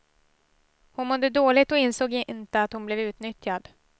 Hon mådde dåligt och insåg inte att hon blev utnyttjad.